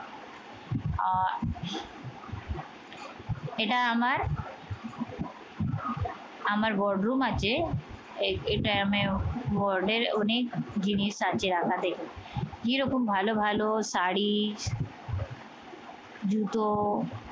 এটা আমার আমার board room আছে। এই এই time এও board এর অনেক জিনিস আছে রাখা, দ্যাখো। কিরকম ভালো ভালো শাড়ি, জুতো